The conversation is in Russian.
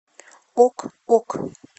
ок ок